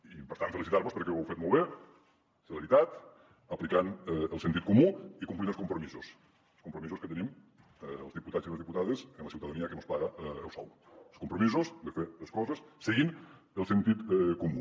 i per tant felicitar vos perquè ho heu fet molt bé celeritat aplicant el sentit comú i complint els compromisos els compromisos que tenim els diputats i les diputades amb la ciutadania que mos paga el sou els compromisos de fer les coses seguint el sentit comú